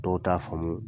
Dɔw t'a faamu